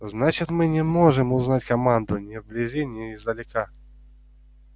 значит мы не можем узнать команду ни вблизи ни издалека